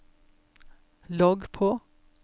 logg på